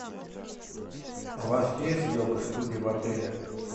у вас есть йога студия в отеле